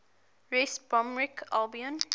west bromwich albion